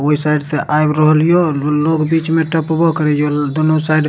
ओय साइड से आब रहल या दू लोग बीच में टपबो करे छै दुनू साइड --